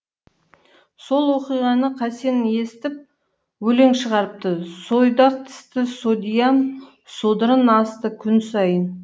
сол оқиғаны қасен естіп өлең шығарыпты сойдақ тісті содьям содырын асты күн сайын